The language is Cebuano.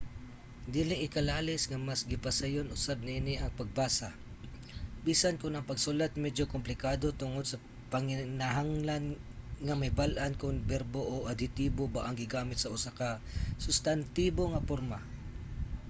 dili ikalalis nga mas gipasayon usab niini ang pagbasa bisan kon ang pagsulat medyo komplikado tungod sa panginahanglan nga mahibal-an kon berbo o adhetibo ba ang gigamit sa usa ka sustantibo nga porma